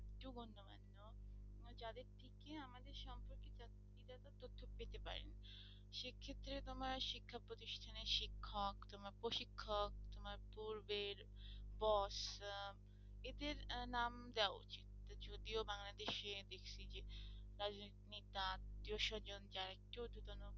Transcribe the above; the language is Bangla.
সেটা তোমার শিক্ষা প্রতিষ্ঠানের শিক্ষক তোমার প্রশিক্ষক তোমার পূর্বের boss আহ এদের আহ নাম দেওয়া উচিত যদিও বাংলাদেশে দেখছি যে রাজনৈতিক নেতা আত্মীয়-স্বজন যারা একটু ঊর্ধ্বতন